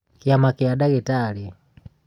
kĩama kĩa ndagĩtarĩ